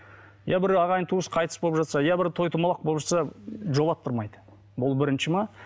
иә бір ағайын туыс қайтыс болып жатса иә бір той домалақ болып жатса жолаттырмайды бұл бірінші ме